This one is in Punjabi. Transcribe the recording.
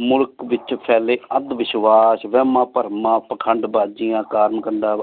ਮੁਲਕ ਵਿਚ ਪਹੇਲੀ ਅਧ ਵਿਸ਼ਵਾਸ਼ ਵੇਹ੍ਮਾ ਭਰਮ ਪਰਮਾ ਪਾਖੰਡ ਬਾਜ਼ੀ ਕਰਮ ਕੰਡਾ